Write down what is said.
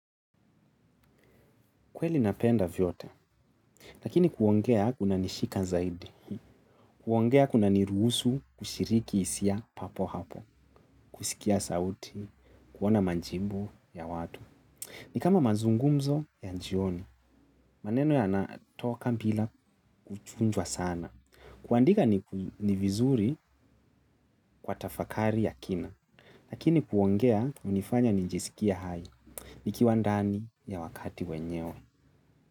Kweli napenda vyote, lakini kuongea kuna nishika zaidi, kuongea kuna niruhusu kushiriki hisia papo hapo, kusikia sauti, kuona majibu ya watu. Ni kama mazungumzo ya jioni, maneno ya natoka mbila kuchunjwa sana. Kuandika ni vizuri kwa tafakari ya kina, lakini kuongea hunifanya nijisikie hai, nikiwandani ya wakati wenyewe.